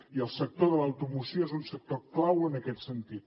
i el sector de l’automoció és un sector clau en aquest sentit